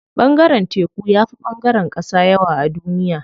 Ɓangaren teku yafi ɓangaren ƙasa yawa a duniya.